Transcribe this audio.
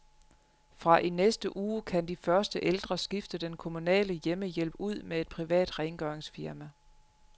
Fra i næste uge kan de første ældre skifte den kommunale hjemmehjælp ud med et privat rengøringsfirma.